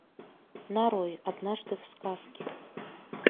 нарой однажды в сказке